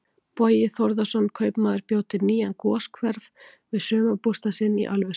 Bogi Þórðarson kaupmaður bjó til nýjan goshver við sumarbústað sinn í Ölfusi.